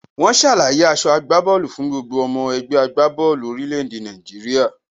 Wọ́n ṣàlàyé aso ìgbábóòlù fún gbogbo ọmọ ẹgbẹ́ agbá bọ́ọ̀lù orílẹ̀ èdè Nàìjíríà.